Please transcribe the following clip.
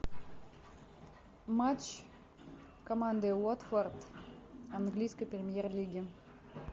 матч команды уотфорд английской премьер лиги